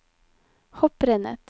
hopprennet